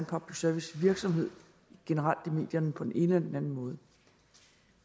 public service virksomhed generelt i medierne på den ene eller den anden måde